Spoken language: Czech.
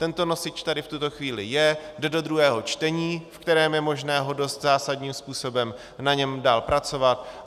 Tento nosič tady v tuto chvíli je, jde do druhého čtení, ve kterém je možné dost zásadním způsobem na něm dál pracovat.